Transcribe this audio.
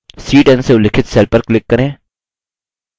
c10 से उल्लिखित cell पर click करें